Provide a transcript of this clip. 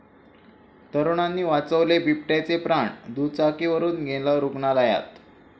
तरुणांनी वाचवले बिबट्याचे प्राण, दुचाकीवरुन नेलं रुग्णालयात!